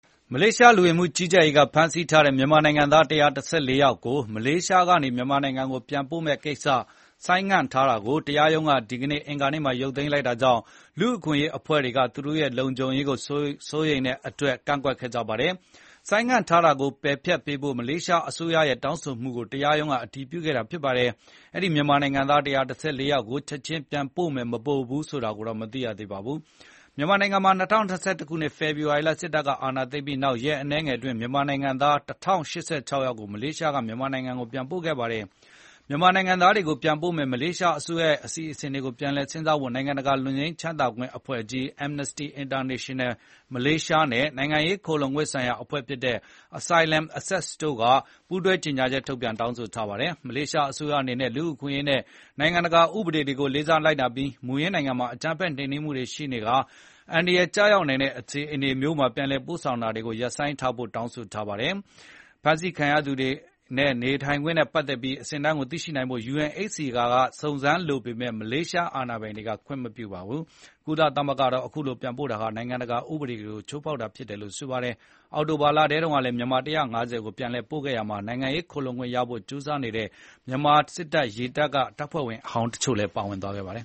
မလေးရှားလူဝင်မှုကြီးကြပ်ရေးကဖမ်းဆီးထားတဲ့ မြန်မာနိုင်ငံသား ၁၁၄ ယောက်ကို မလေးရှားကနေ မြန်မာနိုင်ငံကိုပြန်ပို့မယ့်ကိစ္စ ဆိုင်းငံ့ထားတာကို တရားရုံးကဒီကနေ့ အင်္ဂါနေ့မှာ ရုပ်သိမ်းလိုက်တာကြောင့် လူ့အခွင့်အရေးအဖွဲ့တွေက သူတို့ရဲ့လုံခြုံရေးစိုးရိမ်ပူပန်တဲ့အတွက်ကန့်ကွက်ကြပါတယ်။ ဆိုင်းငံ့ထားတာကိုပယ်ဖျက်ပေးဖို့ မလေးရှားအစိုးရရဲ့တောင်းဆိုမှုကို တရားရုံးကအတည်ပြုခဲ့တာဖြစ်ပါတယ်။ အဲဒီ မြန်မာနိုင်ငံသား ၁၁၄ ယောက်ကို ချက်ချင်း ပြန်ပို့မယ်၊ မပို့ဘူးဆိုတာကိုတော့ မသိရသေးပါဘူး။ မြန်မာနိုင်ငံမှာ ၂၀၂၁ ခုနှစ် ဖေဖော်ဝါရီလ စစ်တပ်ကအာဏာသိမ်းပြီးနောက် ရက်အနည်းငယ်အတွင်း မြန်မာနိုင်ငံသား ၁,၀၈၆ ယောက်ကို မလေးရှားက မြန်မာနိုင်ငံကို ပြန်ပို့ခဲ့ပါတယ်။ မြန်မာနိုင်ငံသားတွေကိုပြန်ပို့မယ့် မလေးရှားအစိုးရရဲ့အစီအစဉ်ကို ပြန်လည်စဉ်းစားဖို့ နိုင်ငံတကာလွတ်ငြိမ်းချမ်းသာခွင့်အဖွဲ့ကြီး Amnesty International မလေးရှားရုံးနဲ့ နိုင်ငံရေးခိုလှုံခွင့်ဆိုင်ရာအဖွဲ့ဖြစ်တဲ့ Asylum Access တို့က ပူးတွဲကြေငြာချက် ထုတ်ပြန်တောင်းဆိုထားပါတယ်။ မလေးရှားအစိုးရအနေနဲ့ လူ့အခွင့်အရေးနဲ့နိုင်ငံတကာ ဥပဒေတွေ ကိုလေးစားလိုက်နာပြီး မူရင်းနိုင်ငံမှာ အကြမ်းဖက်နှိမ်နင်းမှုတွေရှိနေပြီး အန္တရာယ်ကျရောက်နိုင်တဲ့အခြေအနေမျိုးမှာ ပြန်လည်ပို့ဆောင်တာတွေကိုရပ်ဆိုင်းထားဖို့ တောင်းဆိုပါတယ်လို့လည်း ဒီအဖွဲ့တွေကပြောထားပါတယ်။ ဖမ်းဆီးခံထားရသူတွေရဲ့နေထိုင်ခွင့်နဲ့ပတ်သက်ပြီးသိရှိနိုင်ဖို့ UNHCR ကစုံစမ်းလိုပေမယ့်လည်း မလေးရှား အာဏာပိုင်တွေက ခွင့်မပြုပါဘူး။ ကုလသမဂ္ဂကတော့ခုလို ပြန်ပို့တာဟာ နိုင်ငံတကာဥပဒေကို ချိုးဖောက်တာဖြစ်တယ်လို့ဆိုပါတယ်။ အောက်တိုဘာ လတုန်းကလည်း မြန်မာ ၁၅၀ ကို ပြန်လည်ပို့ခဲ့ရာမှာ နိုင်ငံရေးခိုလှုံခွင့်ရဖို့ ကြိုးစားနေတဲ့ မြန်မာစစ်တပ်က တပ်ဖွဲ့ဝင်ဟောင်းတချို့ပါဝင်ခဲ့ပါတယ်။